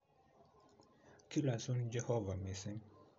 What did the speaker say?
Kilosun. Jehovah. mising'.